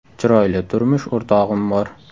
Chiroyli turmush o‘rtog‘im bor.